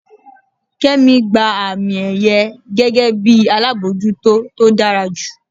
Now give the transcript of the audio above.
kemi gba ami-èyẹ́ gege bi alabọjuto to dara ju.